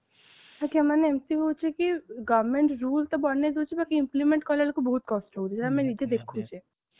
sir ତାମାନେ ଏମିତି ହଉଛି କି government rule ତ ବନେଇ ଦଉଛି ତାକୁ implement କଲା ବେଳକୁ ବୋହୁତ କଷ୍ଟ ହଉଛି ଆମେ ନିଜେ ଦେଖୁଚେ